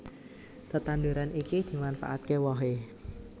Tetanduran iki dimanfaataké wohé